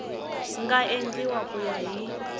nga endliwa ku ya hi